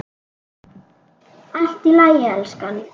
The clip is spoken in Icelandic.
Allt í lagi, elskan.